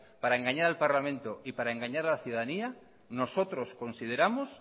para engañar al parlamento y para engañar a las ciudadanía nosotros consideramos